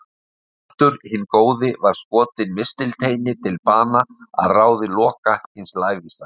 Baldur hinn góði var skotinn mistilteini til bana að ráði Loka hins lævísa.